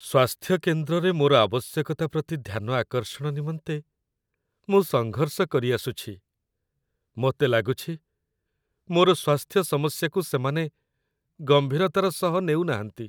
ସ୍ୱାସ୍ଥ୍ୟକେନ୍ଦ୍ରରେ ମୋର ଆବଶ୍ୟକତା ପ୍ରତି ଧ୍ୟାନ ଆକର୍ଷଣ ନିମନ୍ତେ ମୁଁ ସଙ୍ଘର୍ଷ କରିଆସୁଛି, ମୋତେ ଲାଗୁଛି, ମୋର ସ୍ୱାସ୍ଥ୍ୟ ସମସ୍ୟାକୁ ସେମାନେ ଗମ୍ଭୀରତାର ସହ ନେଉ ନାହାଁନ୍ତି।